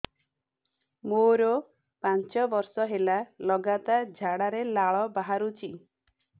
ମୋରୋ ପାଞ୍ଚ ବର୍ଷ ହେଲା ଲଗାତାର ଝାଡ଼ାରେ ଲାଳ ବାହାରୁଚି